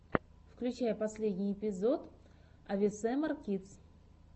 включай последний эпизод авесэмар кидс